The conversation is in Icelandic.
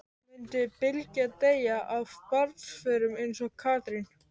Mundi Bylgja deyja af barnsförum eins og Katrín?